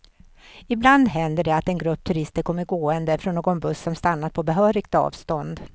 Ibland händer det att en grupp turister kommer gående, från någon buss som stannat på behörigt avstånd.